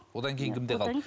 одан кейін кімде қалды